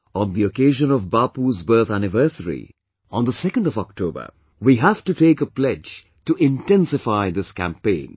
On the occasion of Bapu's birth anniversary on the 2nd of October, we have to take a pledge to intensify this campaign